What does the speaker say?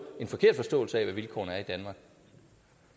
en forkert forståelse af hvad vilkårene